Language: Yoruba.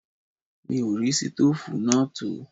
Mi ò rí ṣítòfù náà tò